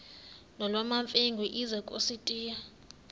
nolwamamfengu ize kusitiya